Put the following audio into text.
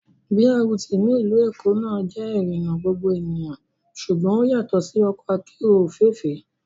BRT ní ìlú Èkó náà jẹ́ ìrìnà gbogbo ènìyàn ṣùgbọ́n ó yàtọ̀ sí ọkọ akérò òféèfé